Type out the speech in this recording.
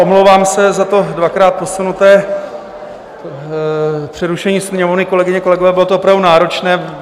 Omlouvám se za to dvakrát posunuté přerušení Sněmovny, kolegyně, kolegové, bylo to opravdu náročné.